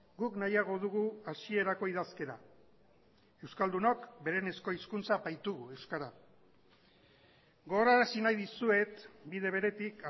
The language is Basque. guk nahiago dugu hasierako idazkera euskaldunok berenezko hizkuntza baitugu euskara gogorarazi nahi dizuet bide beretik